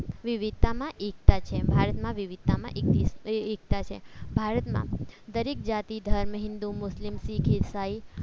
વિવિધતામાં એકતા છે ભારતમાં વિવિધતામાં એકતા છે ભારતમાં દરેક જાતિ ધર્મ હિન્દુ મુસ્લિમ શીખ ઈસાઈ